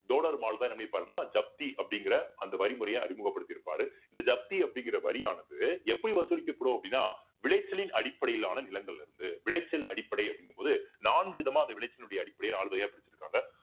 தோடர்மால்தான் என்ன பண்ணியிருப்பாருன்னா ஜப்தி அப்படிங்கிற அந்த வரி முறையை அறிமுகப்படுத்தி இருப்பாரு இந்த ஜப்தி அப்படிங்கிற வரியானது எப்படி வசூலிக்கப்படும் அப்படின்னா விளைச்சலின் அடிப்படையிலான நிலங்கள்ல இருந்து விளைச்சல் அடிப்படை அப்படிங்கும்போது நான்கு விதமா அந்த விளைச்சலினுடைய அடிப்படையில நாலு வரியா பிரிச்சிருக்காங்க